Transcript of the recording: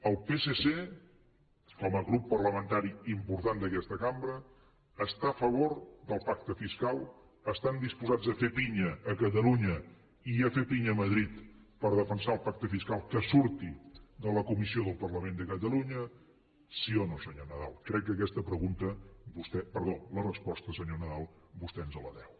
el psc com a grup parlamentari important d’aquesta cambra està a favor del pacte fiscal estan disposats a fer pinya a catalunya i a fer pinya a madrid per defensar el pacte fiscal que surti de la comissió del parlament de catalunya sí o no senyor nadal crec que aquesta resposta senyor nadal vostè ens la deu